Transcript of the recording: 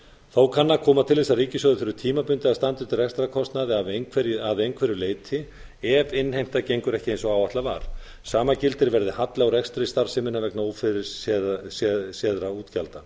þó kann að koma til þess að ríkissjóður þurfi tímabundið að standa undir rekstrarkostnaði að einhverju leyti ef innheimta gengur ekki eins og áætlað var sama gildir verði halli á rekstri starfseminnar vegna ófyrirséðra útgjalda